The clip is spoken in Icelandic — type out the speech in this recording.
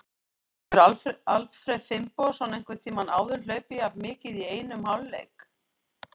Hefur Alfreð Finnbogason einhvern tímann áður hlaupið jafn mikið í einum hálfleik?